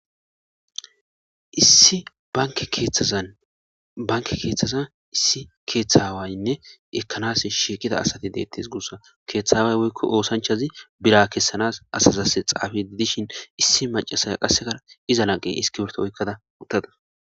issi banke keeththaza issi keeththawaynne ekanas shiiqida asati deettes guussa keeththaway woykko oosanchazi bira kessanas asazass xaafe didishin issi macasay qassekara iza naqe iskiberto oykkada uttada